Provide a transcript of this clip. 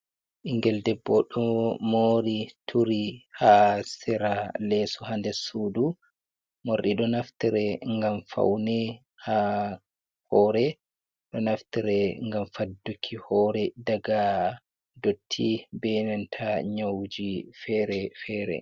Ɓingel debbo ɗo mori turi ha sera leso ha nder sudu. Morɗi ɗo naftire ngam faune ha hore, ɗo naftire ngam fadduki hore daga dotti be nanta nyawuji fere-fere.